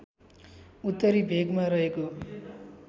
उत्तरी भेगमा रहेको